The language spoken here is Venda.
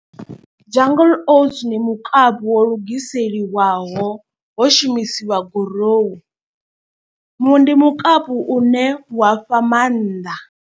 Jungle oats ndi mukapu wo lugiseliwaho ho shumisiwa gurowu, mu ndi mukapu une wa fha maanḓa.